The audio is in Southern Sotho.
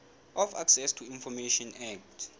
of access to information act